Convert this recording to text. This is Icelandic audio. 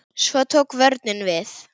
Svo tók vörnin við.